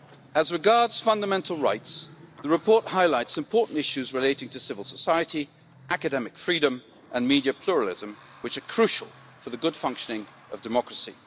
As regards fundamental rights, the report highlights important issues relating to civil society, academic freedom and media pluralism, which are crucial for the good functioning of democracy.